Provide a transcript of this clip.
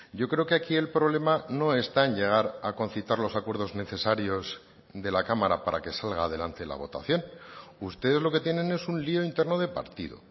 yo creo que aquí el problema no está en llegar a concitar los acuerdos necesarios de la cámara para que salga adelante la votación ustedes lo que tienen es un lio interno de partido